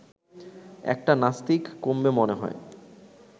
একটা নাস্তিক কমবে মনে হয়